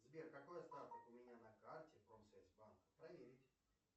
сбер какой остаток у меня на карте промсвязьбанка проверить